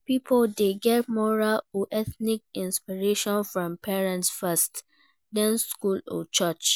Pipo de get moral or ethical inspiration from parents first, then school or church